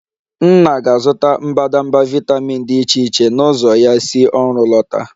Nna ga-azụta mbadamba vitamin dị iche iche na ụzọ ya si ọrụ lọta